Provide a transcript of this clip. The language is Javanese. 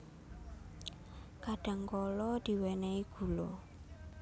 Kadhangkala diwènèhi gula